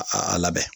A labɛn